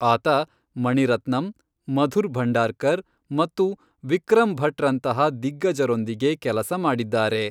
ಆತ ಮಣಿರತ್ನಂ, ಮಧುರ್ ಭಂಡಾರ್ಕರ್ ಮತ್ತು ವಿಕ್ರಮ್ ಭಟ್ರಂತಹ ದಿಗ್ಗಜರೊಂದಿಗೆ ಕೆಲಸ ಮಾಡಿದ್ದಾರೆ.